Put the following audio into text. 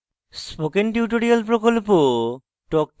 spoken tutorial talk to a teacher প্রকল্পের অংশবিশেষ